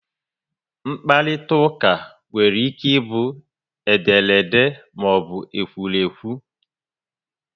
mkparitauka nwere ike bu ederede maọbu ekwurekwu